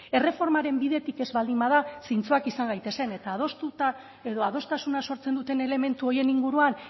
erreformaren bidetik ez baldin bada zintzoak izan gaitezen eta adostuta edo adostasuna sortzen duten elementu horien inguruan